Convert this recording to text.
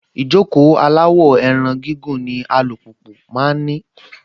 Ìjókòó aláwọ̀-ẹran gígùn ni alùpùpù máa ń ní.